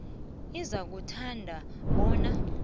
uzakuthanda bona inac